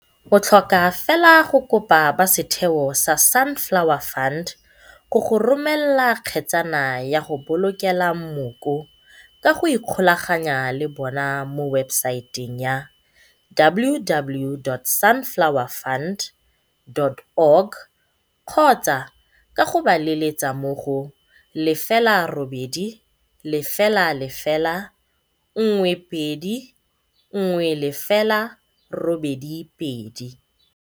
O tlhoka fela go kopa ba setheo sa Sunflower Fund go go romela kgetsana ya go bolokela mmoko ka go ikgolaganya le bona mo webesaeteng ya www.sunflowerfund.org kgotsa ka go ba letsetsa mo go 0800 12 10 82.